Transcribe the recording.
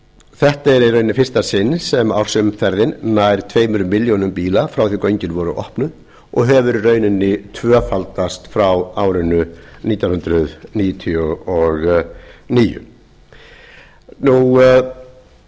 þetta er í rauninni fyrst sinn sem ársumferðin nær tvær milljónir bíla frá því að göngin voru opnuð og hefur í rauninni tvöfaldast frá árinu nítján hundruð níutíu og níu það er hægt